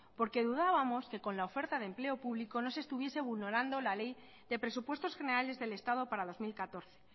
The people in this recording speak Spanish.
porque dudábamos que con la oferta de empleo publico no se estuviese vulnerando la ley de presupuestos generales del estado para dos mil catorce